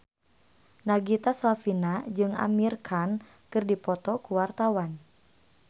Nagita Slavina jeung Amir Khan keur dipoto ku wartawan